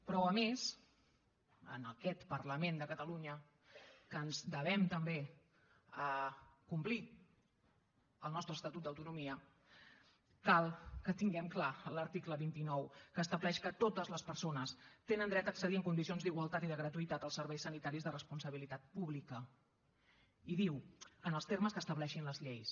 però a més en aquest parlament de catalunya que ens devem també a complir el nostre estatut d’autonomia cal que tinguem clar l’article vint nou que estableix que totes les persones tenen dret a accedir en condicions d’igualtat i de gratuïtat als serveis sanitaris de responsabilitat pública i diu en els termes que estableixin les lleis